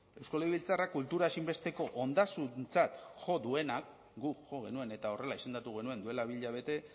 eusko legebiltzarrak kultura ezinbesteko ondasuntzat jo duenak guk jo genuen eta horrela izendatu genuen duela bi hilabete